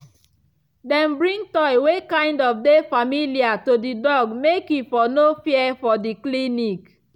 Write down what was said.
them bring toy wey kind of dey familiar to the dog make e for no fear for the clinic